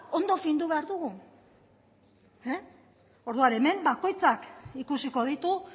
ondo findu behar dugu orduan hemen bakoitzak ikusiko ditu